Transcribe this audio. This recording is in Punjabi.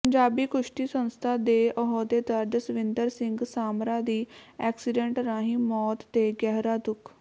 ਪੰਜਾਬੀ ਕੁਸ਼ਤੀ ਸੰਸਥਾ ਦੇ ਅਹੁੱਦੇਦਾਰ ਜਸਵਿੰਦਰ ਸਿੰਘ ਸਾਮਰਾ ਦੀ ਐਕਸੀਡੈਂਟ ਰਾਹੀ ਮੌਤ ਤੇ ਗਹਿਰਾ ਦੁੱਖ